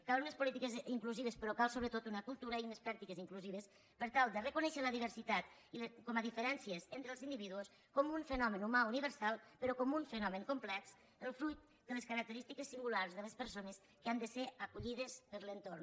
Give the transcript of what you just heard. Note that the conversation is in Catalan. calen unes polítiques inclusives però cal sobretot una cultura i unes pràctiques inclusives per tal de reconèixer la diversitat com a diferències entre els individus com un fenomen humà universal però com un fenomen complex el fruit de les característiques singulars de les persones que han de ser acollides per l’entorn